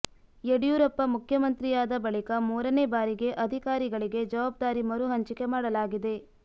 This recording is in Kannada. ಯಡಿಯೂರಪ್ಪ ಮುಖ್ಯಮಂತ್ರಿಯಾದ ಬಳಿಕ ಮೂರನೇ ಬಾರಿಗೆ ಅಧಿಕಾರಿಗಳಿಗೆ ಜವಾಬ್ದಾರಿ ಮರು ಹಂಚಿಕೆ ಮಾಡಲಾಗಿದೆ